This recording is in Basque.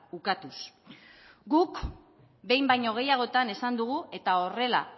ukatuz guk behin baino gehiagotan esan dugu eta horrela